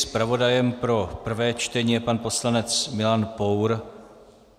Zpravodajem pro prvé čtení je pan poslanec Milan Pour.